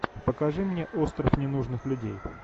покажи мне остров ненужных людей